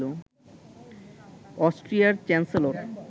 অস্ট্রিয়ার চ্যান্সেলর